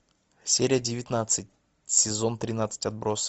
серия девятнадцать сезон тринадцать отбросы